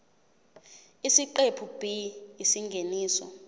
isiqephu b isingeniso